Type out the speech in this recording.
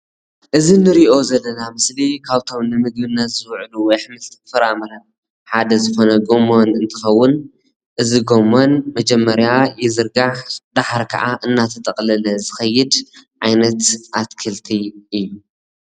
እዚ ንሪኦ ዘለና ምስሊ ካብቶም ንምግብነት ዝውዕሉ ኣሕምልትን ፍራምረን ሓደ ዝኾነ ጎመን እንትኸውን እዚ ጎመን መጀመርያ ይዝርጋሕ ደሓር ካዓ እናተጠቕለለ ዝኸይድ ዓይነት ኣትክልቲ እዩ ።